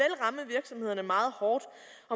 at meget hårdt